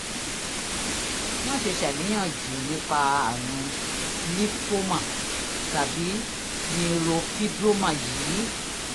má ṣe ṣàníyàn jù nípa àrùn lípómà tàbí neurofibroma yìí